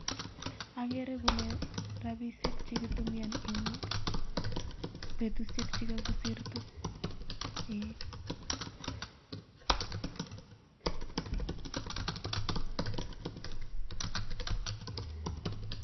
Agele kole robisiel chekikiboishen en bestushek chekakosirto